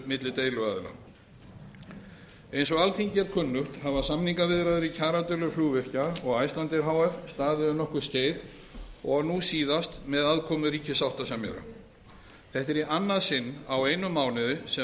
milli deiluaðila eins og alþingi er kunnugt hafa samningaviðræður í kjaradeilu flugvirkja og icelandair h f staðið um nokkurt skeið og nú síðast með aðkomu ríkissáttasemjara þetta er í annað sinn á einum mánuði sem